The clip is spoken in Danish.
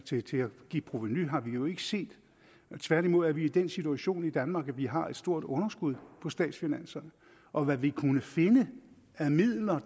til til at give provenu har vi jo ikke set tværtimod er vi i den situation i danmark at vi har et stort underskud på statsfinanserne og hvad vi kunne finde af midler